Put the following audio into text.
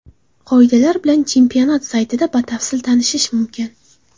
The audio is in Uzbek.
Qoidalar bilan chempionat saytida batafsil tanishish mumkin.